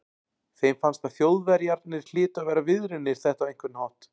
Þeim fannst að Þjóðverjarnir hlytu að vera viðriðnir þetta á einhvern hátt.